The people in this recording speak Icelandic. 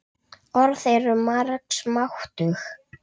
Orð eru margs máttug.